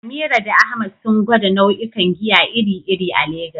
Amira da Ahmad sun gwada nau'ikan giya iri-iri a Legas.